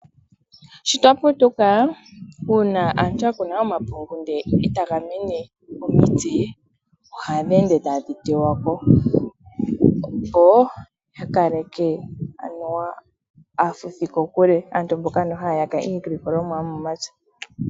Sho twaputuka una aantu yakuna omapungu nde otagamene omitse ohadhi ende tadhi tewako opo yakaleke anuwa aafuthi kokule, aantu mboka anuwa hayaka iilikolomwa yomomapya.